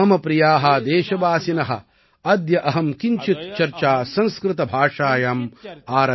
மம பிரியா தேசவாசின அத்ய அஹம் கிஞ்சித் சர்ச்சா சம்ஸ்கிருத பாஷாயாம் ஆரபே